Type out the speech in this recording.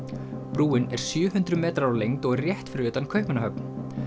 brúin er sjö hundruð metrar á lengd og er rétt fyrir utan Kaupmannahöfn